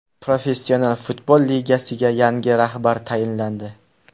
Professional futbol ligasiga yangi rahbar tayinlandi.